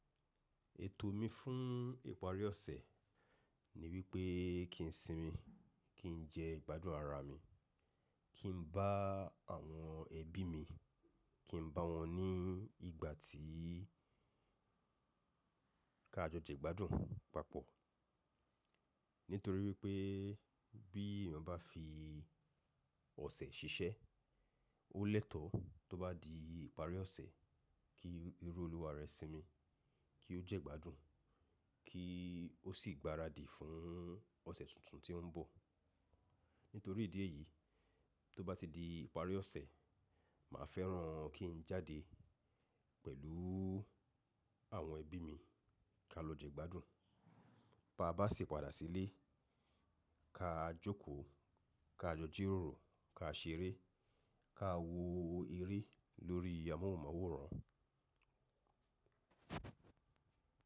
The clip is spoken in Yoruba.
Ètò mi fún ìparí ọ̀sẹ̀ ni wípé kí n sinmi, kí n jẹ ìgbádùn ara mi, kí n bá àwọn ẹbí mi, kí n bá wọn ní ìgbà tí ká jọ jẹ ìgbádùn papọ̀. Nítorí wípé bí èèyàn bá fi ọ̀sẹ̀ ṣiṣẹ́, ó lẹ́tọ̀ọ́ tó bá di ìparí ọ̀sẹ̀ kí irú olúwa rẹ̀ sinmi, kí ó jẹ́ ìgbádùn, kí ó sì gbaradì fún ọ̀sẹ̀ tuntun tí ó ń bọ̀. Nítorí ìdí èyí tó bá ti di ìparí ọ̀sẹ̀, màá fẹ́ràn kí n jáde pẹ̀lú àwọn ẹbí mi ká lọ jẹ ìgbádùn. Bá bà ṣi padà sílé, ká jókòó, ká jọ jẹ ròrò, ká ṣeré, ká wo eré lórí amóhùnmáwòrán.